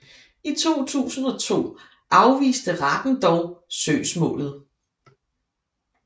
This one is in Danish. I 2002 afviste retten dog søgsmålet